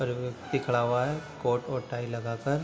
और एक व्यक्ति खड़ा हुआ है कोर्ट और टाई लगाकर।